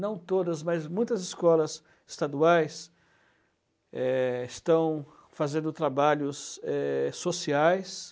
Não todas, mas muitas escolas estaduais, eh, estão fazendo trabalhos eh sociais.